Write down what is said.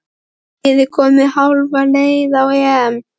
Er liðið komið hálfa leið á EM?